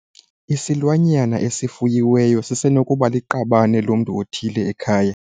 Isilwanyana esifuyiweyo sisenokuba liqabane lomntu othile ekhaya.